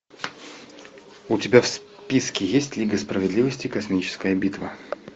у тебя в списке есть лига справедливости космическая битва